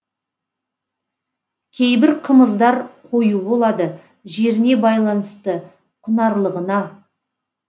кейбір қымыздар қою болады жеріне байланысты құнарлығына